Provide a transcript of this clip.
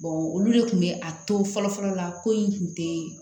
olu de kun be a to fɔlɔ fɔlɔ la ko in kun te